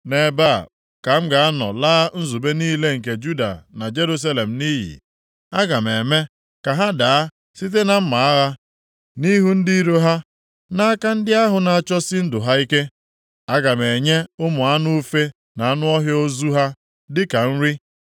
“ ‘Nʼebe a ka m ga-anọ laa nzube niile nke Juda na Jerusalem nʼiyi. Aga m eme ka ha daa site na mma agha nʼihu ndị iro ha, nʼaka ndị ahụ na-achọsi ndụ ha ike. Aga m enye ụmụ anụ ufe na anụ ọhịa ozu ha dịka nri.